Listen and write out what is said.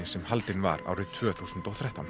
sem haldin var árið tvö þúsund og þrettán